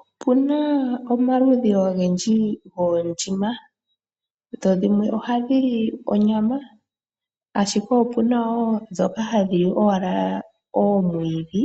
Opuna omaludhi ogendji goondjima , dhimwe ohadhi li onyama , ashike opuna wo ndhoka hadhi li owala oomwiidhi